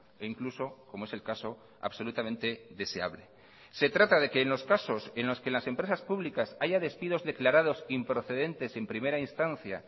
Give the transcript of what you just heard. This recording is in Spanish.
e incluso como es el caso absolutamente deseable se trata de que en los casos en los que las empresas públicas haya despidos declarados improcedentes en primera instancia